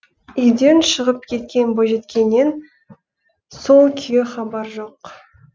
үйден шығып кеткен бойжеткеннен сол күйі хабар жоқ